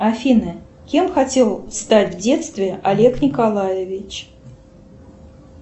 афина кем хотел стать в детстве олег николаевич